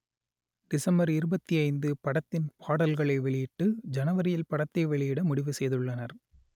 December இருபத்தி ஐந்து படத்தின் பாடல்களை வெளியிட்டு ஜனவரியில் படத்தை வெளியிட முடிவு செய்துள்ளனர்